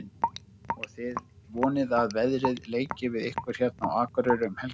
Og þið vonið að veðrið leiki við ykkur hérna á Akureyri um helgina?